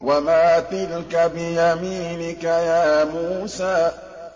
وَمَا تِلْكَ بِيَمِينِكَ يَا مُوسَىٰ